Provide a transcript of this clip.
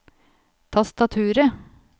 tastaturet